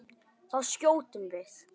Þá skjótum við.